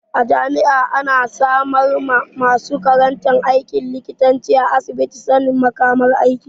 A jami'a ana samar ma masu karantan aikin likita asibitin sanin makamar aiki.